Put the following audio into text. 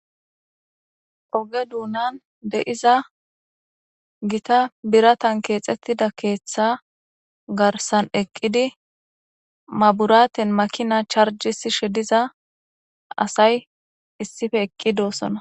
Oge dunan de'iza Gita biratan kexetida keetha garsan eqid maburaten makina charjisishe diza asay issippe eqid dosona .